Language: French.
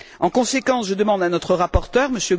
En conséquence, je demande à notre rapporteur, M.